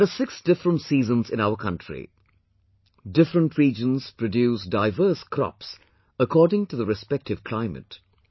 There are six different seasons in our country, different regions produce diverse crops according to the respective climate